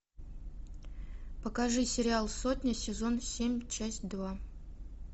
покажи сериал сотня сезон семь часть два